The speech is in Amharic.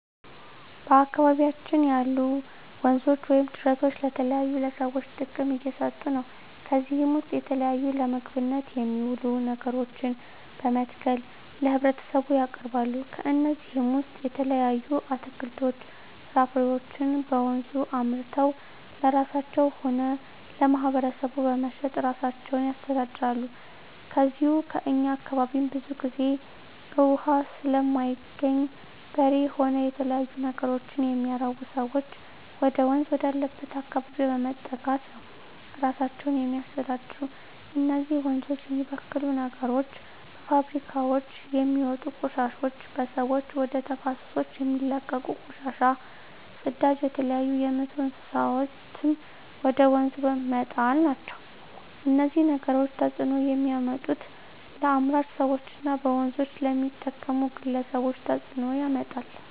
በአካባቢያችን ያሉ ወንዞች ወይም ጅረቶች ለተለያዩ ለሰዎች ጥቅም እየሠጡ ነው ከዚህ ውስጥ የተለያዩ ለምግብነት የሚውሉ ነገሮችን በመትከል ለህብረተሰቡ ያቀርባሉ ከነዚህም ውሰጥ የተለያዩ አትክልቶች ፍራፍሬዎችን በወንዙ አምርተው ለራሳቸው ሆነ ለማህበረሰቡ በመሸጥ እራሳቸውን ያስተዳድራሉ ከዚው ከእኛ አካባቢም ብዙ ግዜ እውሃ ስለማይገኝ በሬ ሆነ የተለያዩ ነገሮች የሚያረቡ ሰዎች ወደወንዝ ወዳለበት አካባቢ በመጠጋት ነው እራሳቸውን የሚያስተዳድሩ እነዚህ ወንዞች የሚበክሉ ነገሮች በፋብሪካውች የሚወጡ ቆሻሾች በሰዎች ወደ ተፋሰሶች የሚለቀቁ ቆሻሻ ጽዳጅ የተለያዩ የምቱ እንስሳትን ወደ ወንዙ መጣል ናቸው እነዚህ ነገሮች ተጽዕኖ የሚያመጡት ለአምራች ሰዎች እና በወንዞች ለሚጠቀሙ ግለሰቦች ተጽእኖ ያመጣል